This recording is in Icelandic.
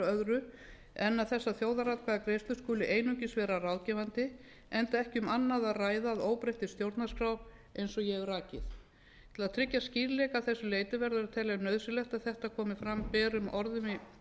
öðru en að þessar þjóðaratkvæðagreiðslur skuli einungis vera ráðgefandi enda ekki um annað að ræða að óbreyttri stjórnarskrá eins og ég hef rakið til að tryggja skýrleika að þessu leyti verður að telja nauðsynlegt að þetta komi fram berum orðum í